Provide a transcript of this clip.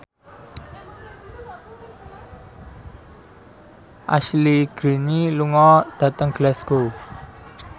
Ashley Greene lunga dhateng Glasgow